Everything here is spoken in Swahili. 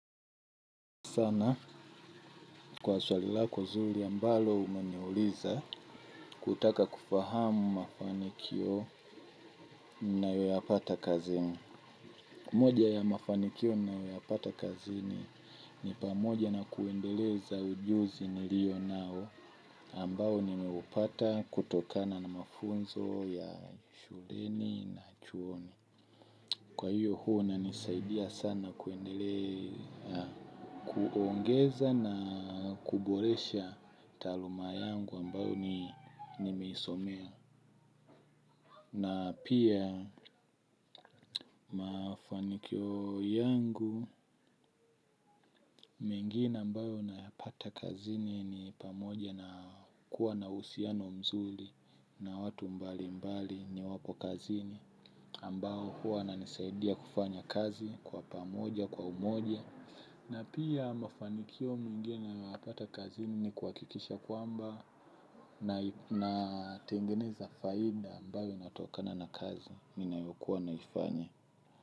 Sana kwa swali lako nzuri ambalo umeniuliza kutaka kufahamu mafanikio ninayo yapata kazini. Moja ya mafanikio ninayoyapata kazini ni pamoja na kuendeleza ujuzi nilio nao ambao nimeupata kutokana na mafunzo ya shuleni na chuoni. Kwa hiyo huwa unanisaidia sana kuongeza na kuboresha taluma yangu ambayo nimisomea. Na pia mafanikio yangu, mengine ambayo nayapata kazini ni pamoja na kuwa na uhusiano mzuri na watu mbalimbali niwapo kazini. Ambao huwa ananisaidia kufanya kazi kwa pamoja, kwa umoja. Na pia mafanikio mengine nayapata kazi ni kuhakikisha kwamba natengeneza faida ambayo inatokana na kazi ninayokuwa naifanya.